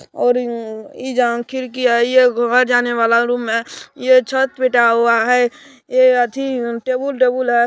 और इ जगह खिड़की है और ये घर जाने वाला रूम है ये छत पीटा हुआ है ए अथी टेबुल - तेबुल हई।